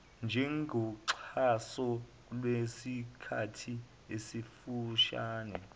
njengoxhaso lwesikhathi esifushane